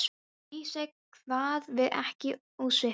Í Vísi kvað við ekki ósvipaðan tón.